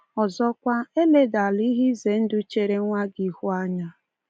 Ọzọkwa, eledala ihe ize ndụ chere nwa gị n'ihu anya.